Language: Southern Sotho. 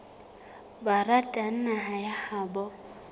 ba ratang naha ya habo